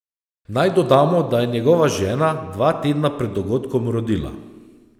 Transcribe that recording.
Naj dodamo, da je njegova žena dva tedna pred dogodkom rodila.